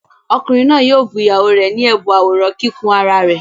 Ọkùnrin náà yóò bu ìyàwó rẹ̀ ní ẹ̀bùn àwòrán kíkùn ara rẹ̀.